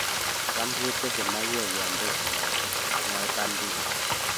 "Cham ketese maiywek yonpekunote "mwoe Baldinger